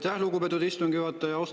Aitäh, lugupeetud istungi juhataja!